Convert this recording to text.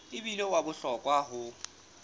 e bile wa bohlokwa ho